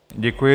Děkuji.